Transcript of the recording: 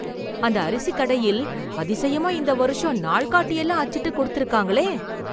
அந்த அரிசி கடையில் அதிசயமா இந்த வருஷம் நாள்காட்டி எல்லாம் அச்சிட்டு கொடுத்து இருக்காங்களே